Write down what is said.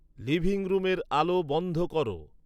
living রুমের আলো বন্ধ কর